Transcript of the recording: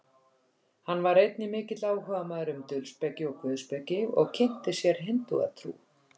hann var einnig mikill áhugamaður um dulspeki og guðspeki og kynnti sér hindúatrú